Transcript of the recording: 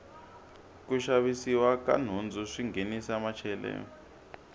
ku xavisiwa ka nhundzu swi nghenisa macheleni